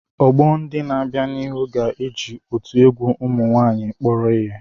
Ọgbọ ndị na-abịa n'ihu ga-eji otu egwu ụmụ nwaanyịkpọrọ ihe.